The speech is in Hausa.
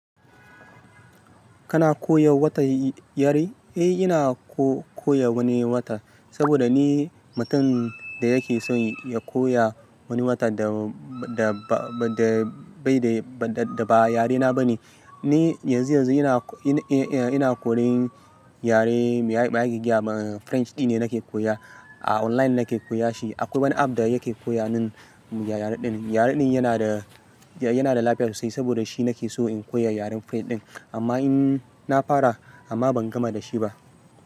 Kana koya wata yare? Eh ina ko-koya wani wata, saboda ni mutum da yake son ya koya wani wata da, da ba, da bai da, da, da ba yarena ba ne. Ni yanzu yanzu ina, ina, eh, ina koyan yare ma'aik-ma'aik-giyar French ɗi ne nake koya. A online nake koya shi. Akwai wani app da yake koya mun yare ɗin. Yare ɗin yana da, yana da lafiya sosai, saboda shi nake so in koya yaren French ɗin. Amma in na fara amma ban gama da shi ba.